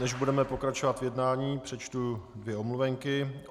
Než budeme pokračovat v jednání, přečtu dvě omluvenky.